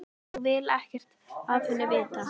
Ég vil ekkert af henni vita.